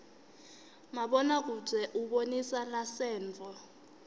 mabona kudze ubonisa lasenttfo